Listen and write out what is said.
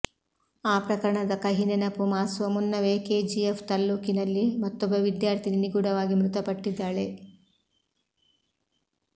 ಆ ಪ್ರಕರಣದ ಕಹಿ ನೆನಪು ಮಾಸುವ ಮುನ್ನವೇ ಕೆಜಿಎಫ್ ತಾಲ್ಲೂಕಿನಲ್ಲಿ ಮತ್ತೊಬ್ಬ ವಿದ್ಯಾರ್ಥಿನಿ ನಿಗೂಢವಾಗಿ ಮೃತಪಟ್ಟಿದ್ದಾಳೆ